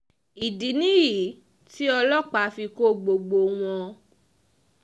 ìdí nìyí tí ọlọ́pàá fi kọ́ gbogbo wọn